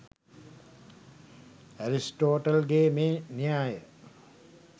Aristotle ගේ මේ න්‍යාය